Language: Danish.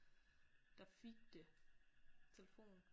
Der fik det telefon